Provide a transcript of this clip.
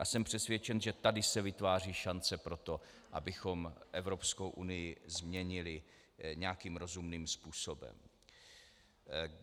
A jsem přesvědčen, že tady se vytváří šance pro to, abychom Evropskou unii změnili nějakým rozumným způsobem.